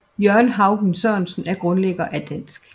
Jørgen Haugen Sørensen er grundlæggende dansk